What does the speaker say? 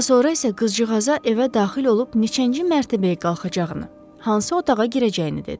Daha sonra isə qızcığaza evə daxil olub neçənci mərtəbəyə qalxacağını, hansı otağa girəcəyini dedi.